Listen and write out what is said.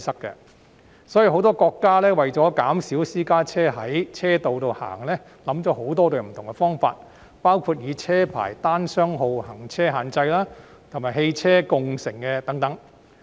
因此，很多國家為了減少私家車在道路行走，想出很多不同方法，包括車牌單雙號行車限制及汽車共乘等。